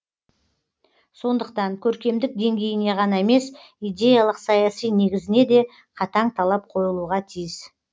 сондықтан көркемдік деңгейіне ғана емес идеялық саяси негізіне де қатаң талап қойылуға тиіс